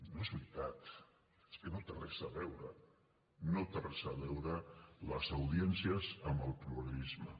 no és veritat és que no hi té res a veure no tenen res a veure les audiències amb el pluralisme